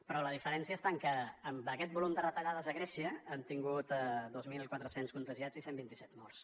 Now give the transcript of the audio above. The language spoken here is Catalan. però la diferència està en que amb aquest volum de retallades a grècia han tingut dos mil quatre cents contagiats i cent i vint set morts